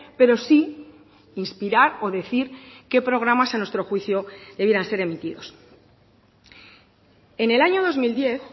pero sí inspirar o decir qué programas a nuestro juicio debieran ser emitidos en el año dos mil diez